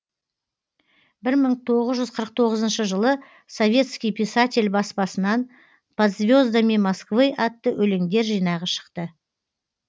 бір мың тоғыз жүз қырық тоғызыншы жылы советский писатель баспасынан под звездами москвы атты өлеңдер жинағы шықты